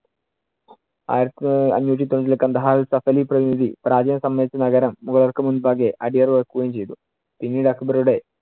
ആയിരത്തി അഞ്ഞൂറ്റി തൊണ്ണൂറ്റിരണ്ടിൽ കാണ്ഡഹാറിൽ സഫലി പ്രതിനിധി പ്രാചീന സമയത്തു നഗരം മൂവർക്കും മുന്‍പാകെ അടിയറ വെക്കുകയും ചെയ്തു. പിന്നീട് അക്ബറുടെ